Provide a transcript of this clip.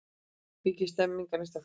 Mikil stemming á Neistaflugi